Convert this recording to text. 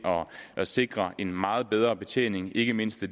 at sikre en meget bedre betjening ikke mindst af